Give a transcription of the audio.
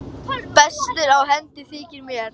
Bestur á hendi þykir mér.